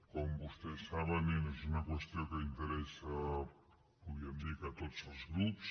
com vostès saben és una qüestió que interessa podríem dir que a tots els grups